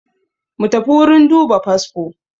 Mutafi wurin duba fasfo